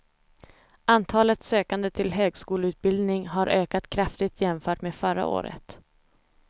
Antalet sökande till högskoleutbildning har ökat kraftigt jämfört med förra året.